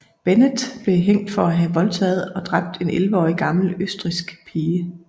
Bennett blev hængt for at have voldtaget og dræbt en 11 år gammel østrigsk pige